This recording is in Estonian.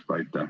Aitäh!